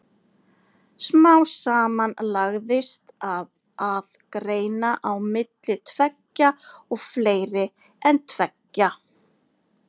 Smám saman lagðist af að greina á milli tveggja og fleiri en tveggja.